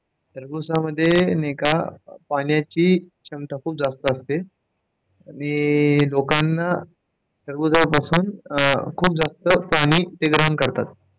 टरबुजामध्ये पाण्याची क्षमता खूप जास्त असते आणि लोकांना टरबुजापासून खूप जास्त पाणी ते ग्रहण करतात.